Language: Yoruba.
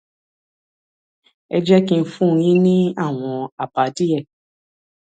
ẹ jẹ kí n fún yín ní àwọn àbá díẹ